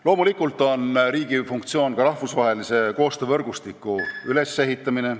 Loomulikult on riigi funktsioon ka rahvusvahelise koostöövõrgustiku ülesehitamine ...